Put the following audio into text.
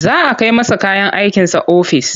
Za a kai masa kayan aikinsa ofis.